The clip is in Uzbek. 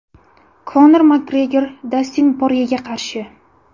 Konor Makgregor Dastin Poryega qarshi.